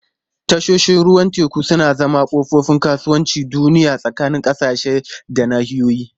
Tashoshin ruwan teku suna zama kofofin kasuwancin duniya tsakanin ƙasashe da nahiyoyi.